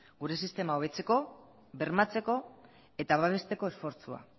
gure sistema hobetzeko bermatzeko eta babesteko esfortzua